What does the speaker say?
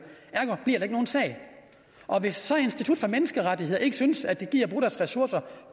ergo bliver der ikke nogen sag og hvis så institut for menneskerettigheder ikke synes de gider bruge deres ressourcer